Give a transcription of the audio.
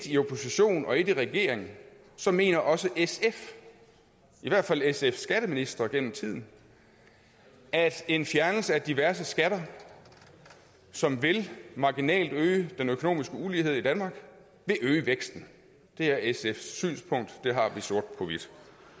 i opposition og et i regering så mener også sf i hvert fald sfs skatteministre gennem tiden at en fjernelse af diverse skatter som marginalt vil øge den økonomiske ulighed i danmark vil øge væksten det er sfs synspunkt det har vi sort på hvidt